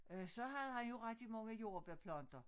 Øh så havde han jo rigtig mange jordbærplanter